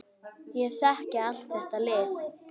Ég þekki allt þetta lið.